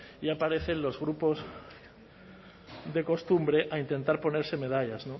y aparecen los grupos de costumbre a intentar ponerse medallas